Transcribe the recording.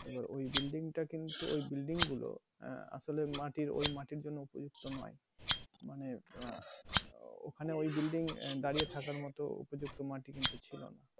এবার ঐ building টা কিন্তু ঐ বিল্ডিং গুলো আহ আসলে মাটির ঐ মাটির জন্য উপযুক্ত নয় মানে আহ ওখানে ঐ building আহ দাড়িয়ে থাকার মতো উপযুক্ত মাটি কিন্তু ছিল না।